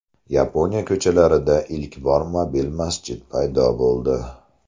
Yaponiya ko‘chalarida ilk bor mobil masjid paydo bo‘ldi.